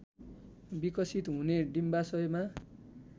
विकसित हुने डिम्बाशयमा